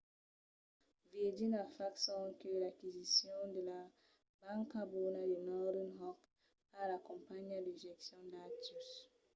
virgin a fach sonque l’aquisicion de la ‘banca bona’ de northern rock pas la companhiá de gestion d'actius